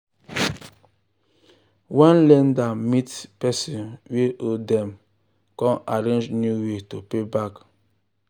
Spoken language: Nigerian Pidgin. when lender meet person wey owe dem come arrange new way to pay back.